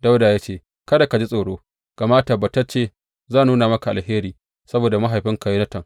Dawuda ya ce, Kada ka ji tsoro, gama tabbatacce zan nuna maka alheri saboda mahaifinka Yonatan.